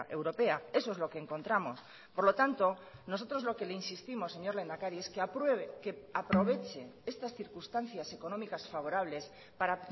europea eso es lo que encontramos por lo tanto nosotros lo que le insistimos señor lehendakari es que apruebe que aproveche estas circunstancias económicas favorables para